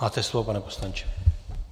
Máte slovo, pane poslanče.